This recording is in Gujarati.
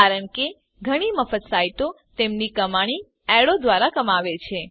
કારણ કે ઘણી મફત સાઈટો તેમની કમાણી એડો જાહેરાતો દ્વારા કમાવે છે